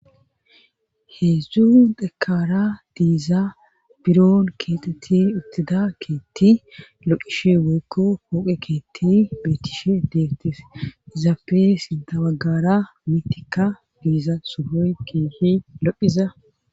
Heedzdzu dhekara diiza biron keeteti uttida keetti loqishe woykko pooqe keetti beetishe deegtes izaafe sinda baggara mitika diiza suboy keehi lophiza.